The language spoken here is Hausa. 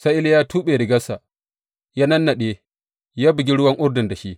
Sai Iliya ya tuɓe rigarsa, ya nannaɗe ya bugi ruwan Urdun da shi.